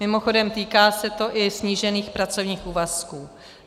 Mimochodem, týká se to i snížených pracovních úvazků.